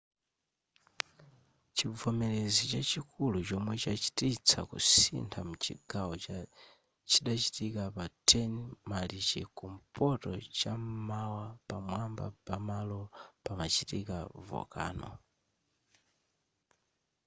chivomerezi chachikulu chomwe chachititsa kusintha mchigawo chidachitika pa 10 marichi kumpoto cham'mawa pamwamba pamalo pamachitika volcano